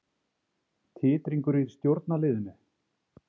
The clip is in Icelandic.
Titringur í stjórnarliðinu